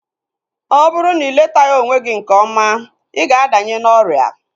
Ọ bụrụ na iletaghi onwe gị nke ọma, ịga adanye n'ọrịa